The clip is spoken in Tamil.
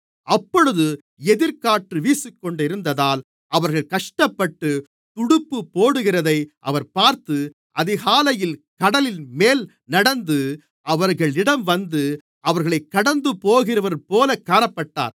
அப்பொழுது எதிர்க்காற்று வீசிக்கொண்டிருந்ததால் அவர்கள் கஷ்டப்பட்டு துடுப்பு போடுகிறதை அவர் பார்த்து அதிகாலையில் கடலின்மேல் நடந்து அவர்களிடம் வந்து அவர்களைக் கடந்துபோகிறவர்போல காணப்பட்டார்